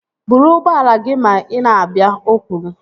Buru ụgbọala gị ma ị na-abịa! O kwuru